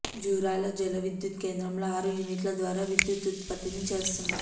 జూరాల జల విద్యుత్ కేంద్రంలో ఆరు యూనిట్ల ద్వారా విద్యుత్ ఉత్పత్తిని చేస్తున్నారు